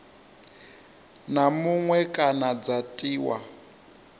na muṅwe kana dza tiwa